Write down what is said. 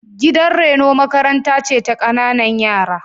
Gidan reno makaranta ce ta ƙanƙananan yara.